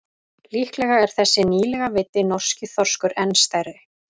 Líklega er þessi nýlega veiddi norski þorskur enn stærri.